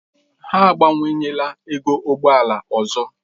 Ha abawanyela ego ụgbọ ala ọzọ.